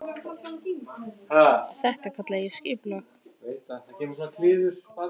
Og þetta kalla ég skipulag.